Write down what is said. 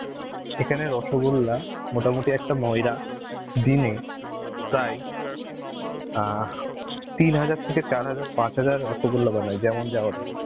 এখানে রসগোল্লা, মোটামুটি একটা ময়রা দিনে প্রায় অ্যাঁ তিন হাজার থেকে চার হাজার পাঁচ রসগোল্লা বানায় যেমন যার order.